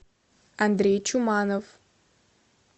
андрей чуманов